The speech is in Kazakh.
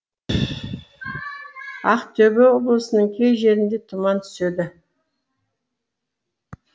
ақтөбе облысының кей жерінде тұман түседі